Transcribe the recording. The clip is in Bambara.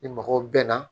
Ni mɔgɔw bɛn na